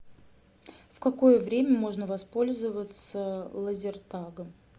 в какое время можно воспользоваться лазертагом